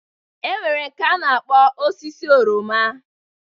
E nwere nke a na-akpọ osisi oroma.